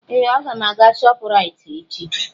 Ee! Aga m aga Shoprite echi.